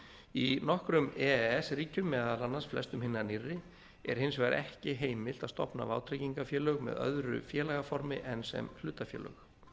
í nokkrum e e s ríkjum meðal annars flestum hinna nýrri er hins vegar ekki heimilt að stofna vátryggingafélög með öðru félagaformi en sem hlutafélög